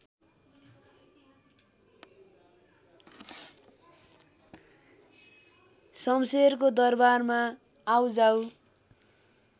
शमशेरको दरबारमा आउजाउ